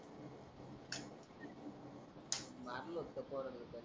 मारल होत पर लोकांनी.